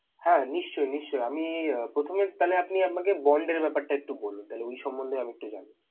হ্যাঁ নিশ্চয়ই নিশ্চয়ই! আমি আহ প্রথমে তাহলে আপনি আমাকে bond এর ব্যাপারটা একটু বলুন, তাইলে ওই সম্বন্ধে আমি একটু জানি।